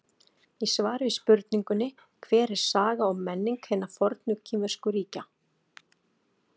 Í svari við spurningunni Hver er saga og menning hinna fornu kínversku ríkja?